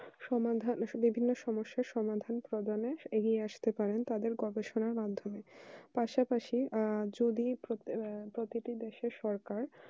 সমাধান বিশেষ্য সমস্যা সমাধান করে আসতে পারেন তাদের গবেষণার মাধ্যমে পাশাপাশি আর যদি প্রতিটি দেশের সরকার